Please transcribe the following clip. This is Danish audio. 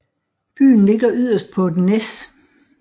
Byen ligger yderst på et næs